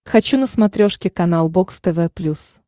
хочу на смотрешке канал бокс тв плюс